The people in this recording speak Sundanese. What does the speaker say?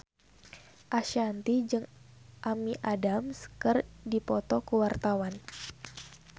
Ashanti jeung Amy Adams keur dipoto ku wartawan